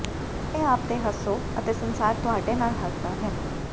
ਆਪਣੇ ਆਪ ਤੇ ਹੱਸੋ ਅਤੇ ਸੰਸਾਰ ਤੁਹਾਡੇ ਨਾਲ ਹੱਸਦਾ ਹੈ